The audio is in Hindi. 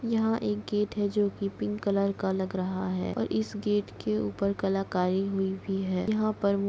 यहाँ एक गेट है जोकि पिंक कलर का लग रहा है और इस गेट के ऊपर कलाकारी हुई भी है यहाँ पर --